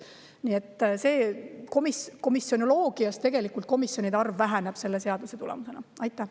Nii et tegelikult komisjonide arv selle seaduse tulemusena väheneb.